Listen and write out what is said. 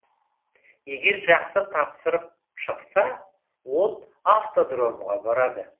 егер жақсы тапсырып шықса ол автодромға барады